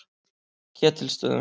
Ketilsstöðum